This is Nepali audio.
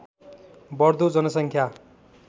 बढ्दो जनसङ्ख्या